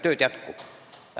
Tööd jätkub.